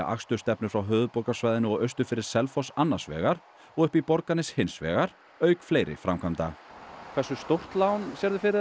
akstursstefnur frá höfuðborgarsvæðinu og austur fyrir Selfoss annars vegar og upp í Borgarnes hins vegar auk fleiri framkvæmda hversu stórt lán sérðu fyrir